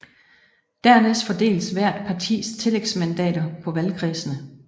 Dernæst fordeles hvert partis tillægsmandater på valgkredsene